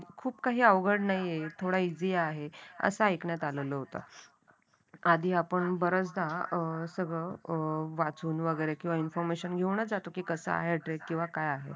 कृपया अवघड नाही आहे थोडा इझी आहे. कसं ऐकण्यात आलेला होता, आधी आपण बरेचदा अं सगळं अ वाचून वगैरे किंवा इंफॉर्मेशन घेऊनच जातो की कसा आहे ट्रेक काय आहे.